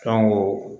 Fɛn ko